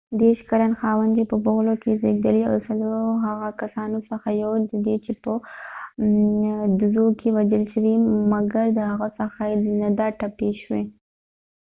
ديرش کلن خاوند چې په بفلو کې زیږیدلی و د څلورو هغه کسانو څخه یو دي چې په ډزو کې وژل شوي مګر د ښڅه یې نه ده ټپی شوي